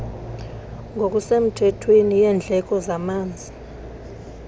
ngokusemthethweni yendleko zamanzi